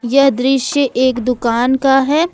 यह दृश्य एक दुकान का है।